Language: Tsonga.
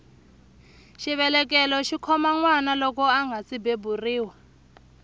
xivelekelo xikhoma nwana loko angasi beburiwa